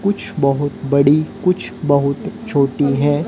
कुछ बहुत बड़ी कुछ बहुत छोटी है।